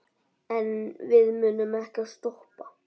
En við munum ekkert stoppa.